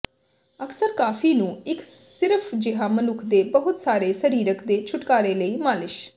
ਅਕਸਰ ਕਾਫ਼ੀ ਨੂੰ ਇੱਕ ਸਿਰਫ ਜਿਹਾ ਮਨੁੱਖ ਦੇ ਬਹੁਤ ਸਾਰੇ ਸਰੀਰਿਕ ਦੇ ਛੁਟਕਾਰੇ ਲਈ ਮਾਲਿਸ਼